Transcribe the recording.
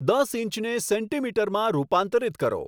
દસ ઈંચને સેન્ટીમીટરમાં રૂપાંતરિત કરો